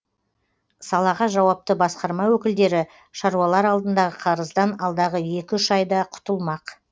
салаға жауапты басқарма өкілдері шаруалар алдындағы қарыздан алдағы екі үш айда құтылмақ